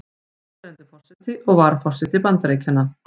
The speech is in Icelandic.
Núverandi forseti og varaforseti Bandaríkjanna.